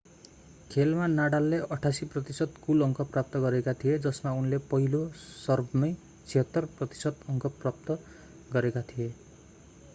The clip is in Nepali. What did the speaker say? खेलमा नडालले 88% कुल अङ्क प्राप्त गरेका थिए जसमा उनले पहिलो सर्भमै 76% अङ्क प्राप्त गरेका थिए